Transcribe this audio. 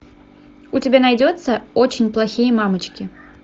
у тебя найдется очень плохие мамочки